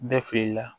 Bɛɛ fili la